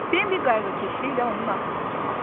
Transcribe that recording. Bembə qayğıkeşliklə onun arxasınca baxdı.